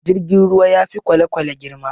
Jirgin ruwa ya fi kwalekwale girma